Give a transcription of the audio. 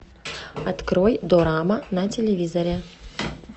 открой дорама на телевизоре